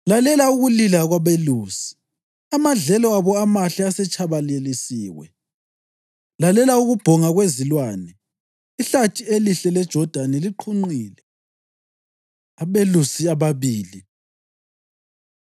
Lalela ukulila kwabelusi; amadlelo abo amahle asetshabalalisiwe! Lalela ukubhonga kwezilwane; ihlathi elihle leJodani liqhunqile! Abelusi Ababili